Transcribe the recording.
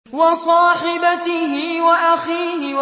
وَصَاحِبَتِهِ وَأَخِيهِ